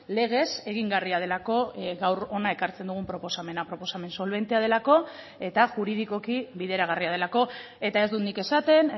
legez egingarria delako gaur hona ekartzen dugun proposamena proposamen solbentea delako eta juridikoki bideragarria delako eta ez dut nik esaten